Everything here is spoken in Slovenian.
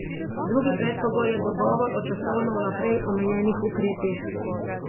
Drugi predpogoj je dogovor o časovno vnaprej omejenih ukrepih.